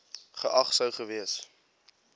geag sou gewees